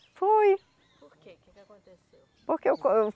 Foi. Por que, que que aconteceu? Porque eu co, eu